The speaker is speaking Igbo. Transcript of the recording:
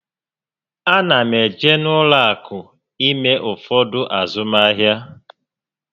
A na m eje n'ụlọ akụ ime ụfọdụ azụmahịa